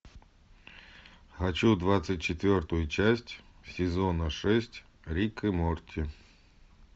хочу двадцать четвертую часть сезона шесть рик и морти